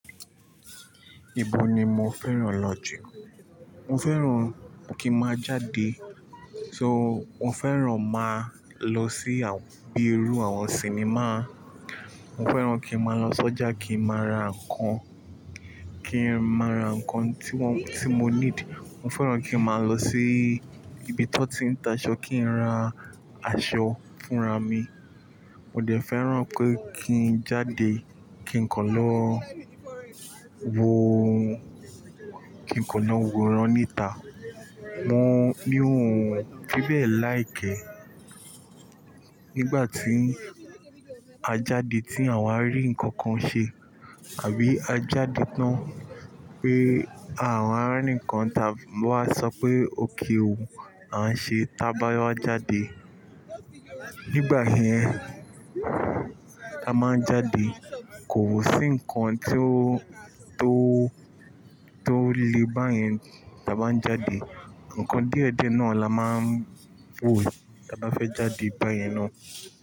Ibo ni mo fẹ́ràn lọ jù? Mo fẹ́ràn kí n máa jáde. So mo fẹ́ràn máa lọ sí àbẹ́ẹrú àwọn sinimá. Mo fẹ́ràn kí n máa lọ sọ́jà kí n máa ra nǹkan, kí n máa ra nǹkan tí wọ́n, tí mo need. Mo fẹ́ràn kí n máa lọ sí ibi tí wọ́n ti ń ta aṣọ kí n ra aṣọ fúnra mi. Mo dẹ̀ fẹ́ràn pé kí n jáde, kí n kọ́n lọ wo, kí n kọ́ lọ wo ìran níta. Wọ́n ní ohun fí bẹ́ẹ̀ láì kẹ́. Nígbà tí a jáde tí àwa rí ǹkan kan ṣe àbí a jáde tán pé àwa rí ǹkan táa wá sọ pé òkè o a ń ṣe tá bá wá jáde. Nígbà yẹn, a máa ń jáde. Kò sí ǹkan tí ó, tó, tó le báyẹn táa bá ń jáde. Ǹkan díẹ̀díẹ̀ náà la máa ń wò táa bá fẹ́ jáde báyẹn ná.